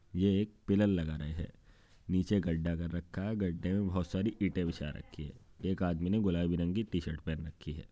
ये एक पिल्लर लगा रहे हैं नीचे गड्ढा कर रखा है गड्ढे में बहुत सारी ईटे बिछा रखी हैं। एक आदमी ने गुलाबी रंग की टी शर्ट पहन रखी है।